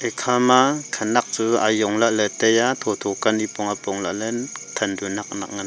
ekha ma khanak chu ajong lah ley tai a tho tho ka nipong apong lah ley than chu nak nak.